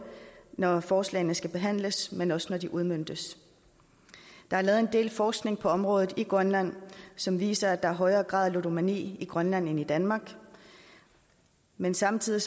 når forslagene skal behandles men også når de udmøntes der er lavet en del forskning på området i grønland som viser at der i højere grad er ludomani i grønland end i danmark men samtidig